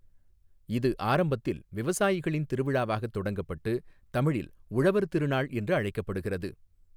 இது ஆரம்பத்தில் விவசாயிகளின் திருவிழாவாக தொடங்கப்பட்டு தமிழில் உழவர் திருநாள் என்று அழைக்கப்படுகிறது.